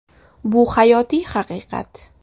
Bu hayotiy haqiqat.